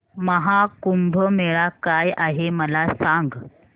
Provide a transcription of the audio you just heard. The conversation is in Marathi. महा कुंभ मेळा काय आहे मला सांग